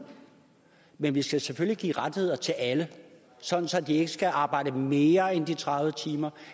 men vi skal selvfølgelig give rettigheder til alle sådan at de ikke skal arbejde mere end de tredive timer og